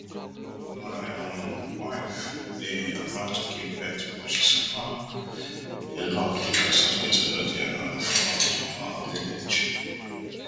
my um wife dey about to give birth but she suffer a lot becos hospital no dey around for um our village